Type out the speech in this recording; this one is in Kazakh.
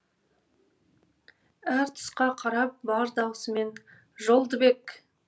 әр тұсқа қарап бар даусымен жолдыбек